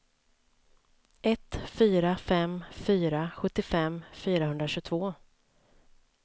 ett fyra fem fyra sjuttiofem fyrahundratjugotvå